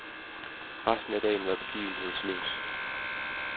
Resten af dagen var begivenhedsløs.